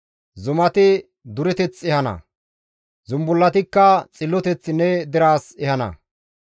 Zumati dureteth ehana; zumbullatikka xilloteth ne deraas ehana.